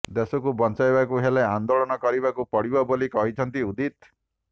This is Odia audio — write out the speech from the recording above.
ଦେଶକୁ ବଞ୍ଚାଇବାକୁ ହେଲେ ଆନ୍ଦୋଳନ କରିବାକୁ ପଡ଼ିବ ବୋଲି କହିଛନ୍ତି ଉଦିତ୍